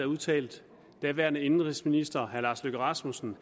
udtalte daværende indenrigsminister herre lars løkke rasmussen